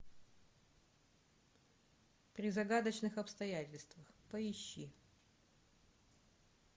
при загадочных обстоятельствах поищи